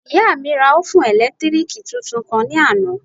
Ìyá mi ra òfún ẹ̀lẹ́tírìkì tuntun kan ní àná